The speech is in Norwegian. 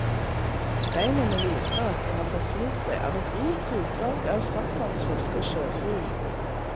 Beinene viser at de har forsynt seg av et rikt utvalg av saltvannsfisk og sjøfugl.